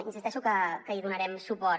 insisteixo que hi donarem suport